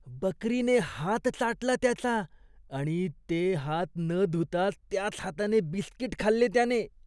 बकरीने हात चाटला त्याचा आणि ते हात न धुताच त्याच हाताने बिस्कीट खाल्ले त्याने.